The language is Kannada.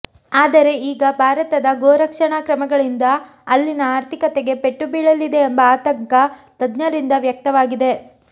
ಆದರೆ ಈಗ ಭಾರತದ ಗೋ ರಕ್ಷಣಾ ಕ್ರಮಗಳಿಂದ ಅಲ್ಲಿನ ಆರ್ಥಿಕತೆಗೆ ಪೆಟ್ಟು ಬೀಳಲಿದೆ ಎಂಬ ಆತಂಕ ತಜ್ಞರಿಂದ ವ್ಯಕ್ತವಾಗಿದೆ